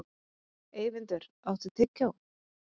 Eyvindur, áttu tyggjó?